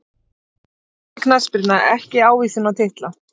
Falleg knattspyrna ekki ávísun á titla